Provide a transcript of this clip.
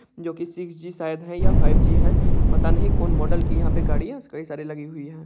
जो की six G शायद है या फाइव _जी है पता नहीं कोन मॉडल की यहाँ पे गाड़ी है कई सारी लगी हुई है।